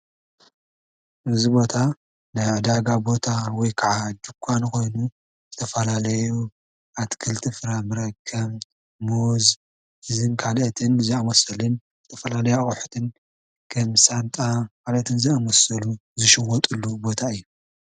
እዚ ቦታ ናይ ዕዳጋ ቦታ ወይ ክዓ ድንኳን ኮይኑ ዝተፈላለዩ ኣትክልትን ፍራምረን ከም ሙዝን ካልኦትን ዝኣመሰሉን ዝተፈላለዩ ኣቑሑትን ከም ሳንጣ ካልኦትን ዝኣመሰሉ ዝሽወጥሉ ቦታ እዩ።